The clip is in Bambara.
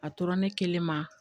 A tora ne kelen ma